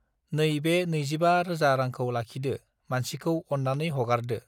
नै बे नैजिबा रोजा रांखौ लाखिदो मानसिखौ अन्नानै हगारदो